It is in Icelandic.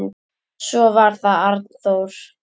Svo var það Arnþór.